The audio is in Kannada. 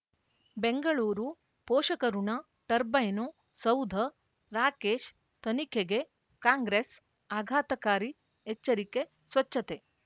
ಬೆಂಗಳೂರು ಪೋಷಕಋಣ ಟರ್ಬೈನು ಸೌಧ ರಾಕೇಶ್ ತನಿಖೆಗೆ ಕಾಂಗ್ರೆಸ್ ಆಘಾತಕಾರಿ ಎಚ್ಚರಿಕೆ ಸ್ವಚ್ಛತೆ